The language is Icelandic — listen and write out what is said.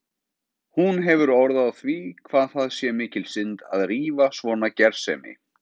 Hún hefur orð á því hvað það sé mikil synd að rífa svona gersemi.